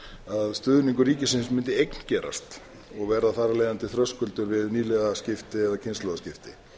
að stuðningur ríkisins mundi eigngerast og verða þar af leiðandi þröskuldur við nýliðaskipti eða kynslóðaskipti það